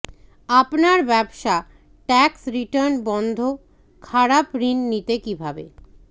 আপনার ব্যবসা tax return বন্ধ খারাপ ঋণ নিতে কিভাবে